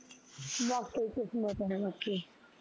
ਵਾਕਏ ਈ ਕਿਸਮਤ ਐ ਬਾਕੀ